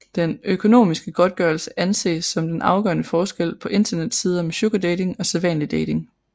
Den økonomiske godtgørelse anses som den afgørende forskel på internetsider med sugardating og sædvanlig dating